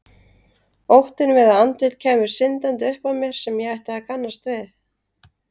Óttinn við að andlit kæmu syndandi upp að mér sem ég ætti að kannast við.